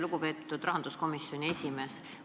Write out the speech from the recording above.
Lugupeetud rahanduskomisjoni esimees!